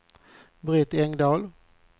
Britt Engdahl